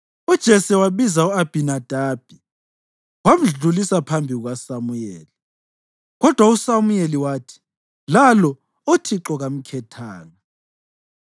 UJese wabiza u-Abhinadabi wamdlulisa phambi kukaSamuyeli. Kodwa uSamuyeli wathi, “Lalo uThixo kamkhethanga.”